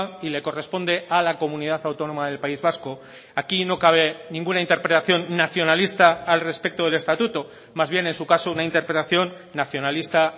y le corresponde a la comunidad autónoma del país vasco aquí no cabe ninguna interpretación nacionalista al respecto del estatuto más bien en su caso una interpelación nacionalista